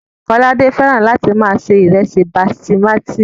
Kọ́ládé fẹ́ràn láti máa se ìrẹsì basimátí